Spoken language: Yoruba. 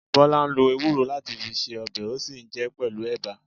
Bola lo ewúro láti fi ṣe ọbẹ̀, ó sì jẹ pẹlu ẹ̀bà